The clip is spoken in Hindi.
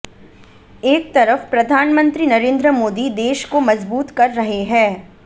एक तरफ प्रधानमंत्री नरेंद्र मोदी देश को मजबूत कर रहे हैं